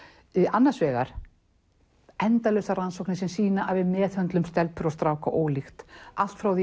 annars vegar endalausar rannsóknir sem sýna að við meðhöndlum stelpur og stráka ólíkt allt frá því